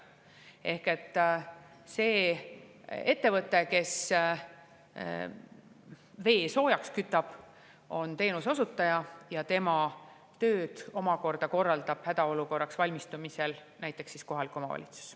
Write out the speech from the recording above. Ehk see ettevõte, kes vee soojaks kütab, on teenuse osutaja, aga tema tööd omakorda korraldab – näiteks hädaolukorraks valmistumisel – kohalik omavalitsus.